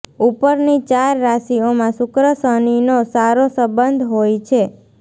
ઉપરની ચાર રાશિઓમાં શુક્ર શનિનો સારો સંબંધ હોય છે